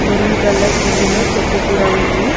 Maroon colour కుండీలో చెట్టు కూడా ఉంది.